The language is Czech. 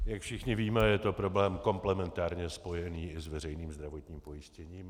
Jak všichni víme, je to problém komplementárně spojený i s veřejným zdravotním pojištěním.